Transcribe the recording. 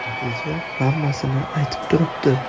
Natija hammasini aytib turibdi.